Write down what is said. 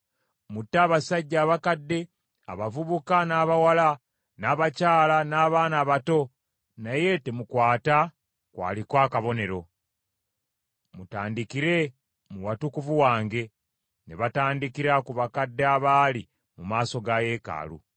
Mutte abasajja abakadde, abavubuka n’abawala, n’abakyala n’abaana abato, naye temukwata ku aliko akabonero. Mutandikire mu watukuvu wange.” Ne batandikira ku bakadde abaali mu maaso ga yeekaalu.